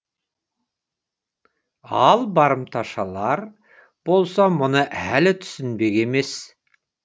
ал барымташылар болса мұны әлі түсінбек емес